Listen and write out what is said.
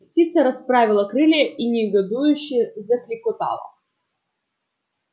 птица расправила крылья и негодующе заклекотала